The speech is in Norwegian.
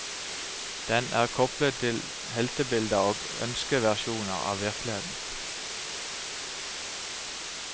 Den er koplet til heltebilder og ønskeversjoner av virkeligheten.